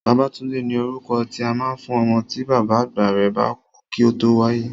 Babátúndé ni orúkọ tí a máa ń fún ọmọ tí bàbá àgbà rẹ̀ bá kú kí ó tó wáyé